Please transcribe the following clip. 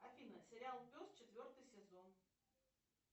афина сериал пес четвертый сезон